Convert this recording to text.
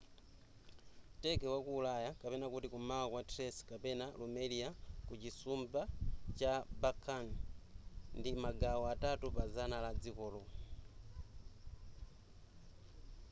turkey wa ku ulaya kum'mawa kwa thrace kapena rumelia ku chisumbu cha balkan ndi magawo atatu pa zana la dzikolo